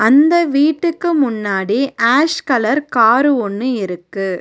அந்த வீட்டுக்கு முன்னாடி ஆஷ் கலர் காரு ஒன்னு இருக்கு.